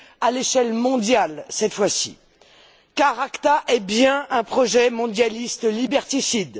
à l'échelle mondiale cette fois ci, car l'ACTA est bien un projet mondialiste liberticide.